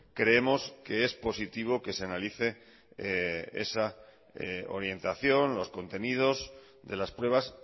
creemos que es positivo que se analice esa orientación los contenidos de las pruebas